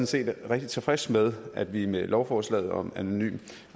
set rigtig tilfreds med at vi med lovforslaget om anonym